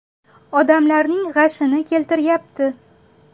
Odamlarning g‘ashini keltiryapti.